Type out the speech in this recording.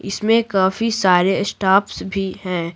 इसमें काफी सारे स्टाफ्स भी हैं।